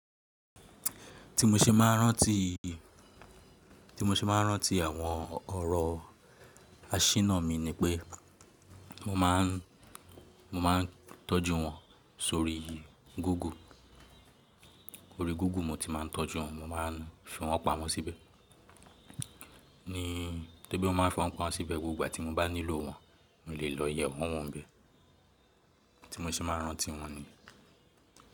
Tí mo ṣe máa ń rántí, tí mo ṣe máa ń rántí àwọn ọ̀rọ̀ aṣínà mi ni pé mo máà ń, mo máa ń tọ́jú wọn sórí Google. Orí Google mo ti màá ń tọ́jú wọn. Mo máa ń fi wọn pamọ́ síbẹ̀. Ní tóri bí mo máa ń fi wọn pamọ́ síbẹ̀, gbogbo ìgbà tí mo bá nílò wọn, mo lè lọ yẹ wọ́n wọ ń béè. Tí mo ṣe máa ń rántí wọn ni.